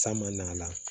San man'a la